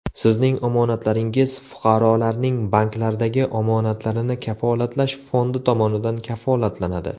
Sizning omonatlaringiz Fuqarolarning banklardagi omonatlarini kafolatlash fondi tomonidan kafolatlanadi.